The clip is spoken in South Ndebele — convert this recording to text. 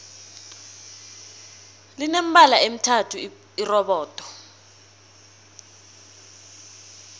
line mibala emithathu irobodo